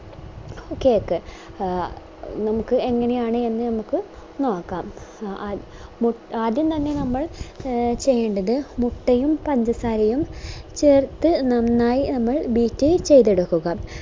cake നമുക്ക് എങ്ങനെയാണ് എന്ന് നമുക്ക് നോക്കാം ആ മു ആദ്യം തന്നെ നമ്മൾ ചെയ്യണ്ടത് മുട്ടയും പഞ്ചസാരയും ചേർത്ത് നന്നായി ഒന്ന് beat ചെയ്ത എടുക്കുക